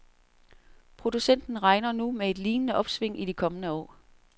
Producenten regner nu med et lignende opsving i de kommende år.